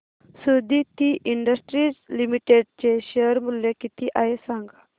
Suditi industries limited चे share मूल्य किती आहे सांगा